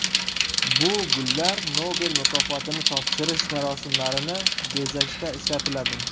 Bu gullar Nobel mukofotini topshirish marosimlarini bezashda ishlatiladi.